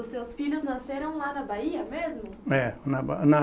Os seus filhos nasceram lá na Bahia mesmo? É na Ba na